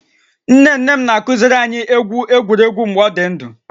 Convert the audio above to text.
Nne nne m na-akuziri anyị egwu egwuregwu mgbe ọ dị ndụ